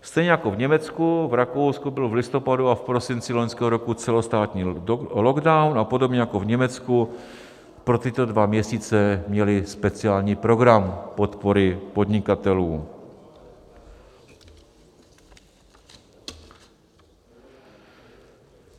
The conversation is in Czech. Stejně jako v Německu, v Rakousku byl v listopadu a v prosinci loňského roku celostátní lockdown a podobně jako v Německu pro tyto dva měsíce měli speciální program podpory podnikatelů.